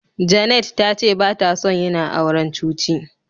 Janet tace batason yina auren cuci.